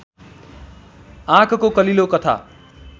आँकको कलिलो तथा